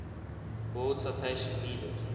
world citation needed